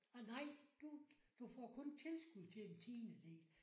Nej! Du du får kun tilskud til en tiendedel